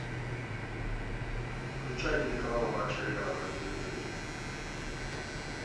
включай телеканал матч арена на телевизоре